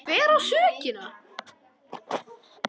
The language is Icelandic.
Hver á sökina?